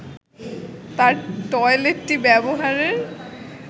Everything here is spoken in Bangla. তার টয়লেটটি ব্যবহারের